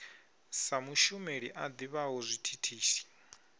sa mushumeli a ḓivhaho zwithithisi